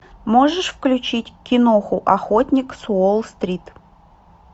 можешь включить киноху охотник с уолл стрит